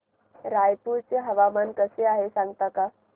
रायपूर चे हवामान कसे आहे सांगता का